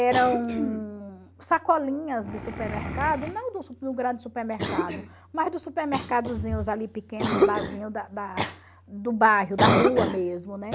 Eram sacolinhas de supermercado, não dos do grande supermercado, mas dos supermercadozinhos ali pequenos, barzinhos da da do bairro, da rua mesmo, né?